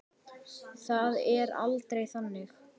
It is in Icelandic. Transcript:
Það er aldrei þannig.